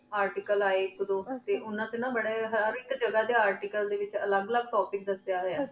artical ਆਯ ਆਇਕ ਦੋ ਨਾ ਉਨਾ ਟੀ ਨਾ ਬਰੀ ਹੇਰ topic ਜਗਾ ਟੀ ਨਾ ਅਲਘ ਅਲਘ topic ਦਸਿਆ ਹੂਯ